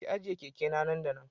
Ki ajiye keke na nan da nan